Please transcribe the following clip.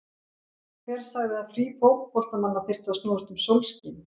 Hver sagði að frí fótboltamanna þyrftu að snúast um sólskin?